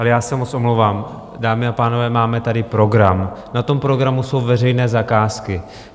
Ale já se moc omlouvám, dámy a pánové, máme tady program, na tom programu jsou veřejné zakázky.